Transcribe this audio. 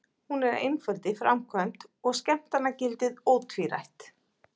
Hún er einföld í framkvæmd og skemmtanagildið ótvírætt.